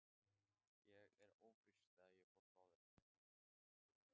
Ég var ófrísk þegar ég fór frá þér.